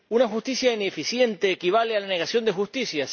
¿Una justicia ineficiente equivale a la negación de justicia?